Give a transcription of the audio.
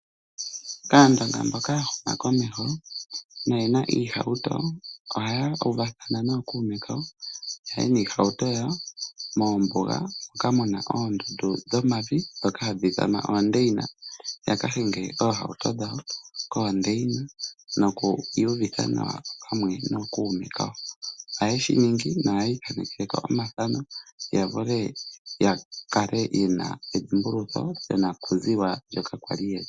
Aandonga mboka ya huma komeho, noye na iihauto ohaya uvathana nookuume yaye niihauto yawo moondundu dhomavi moka muna oondeyina, yaka hinge oohauto dhawo koondeyina noku iyuvitha nawa pamwe nookuume kawo. Ohaya shi ninga mohata ithaaneke omathano ya kale ye na edhimbulukitho lyonakuziwa yawo.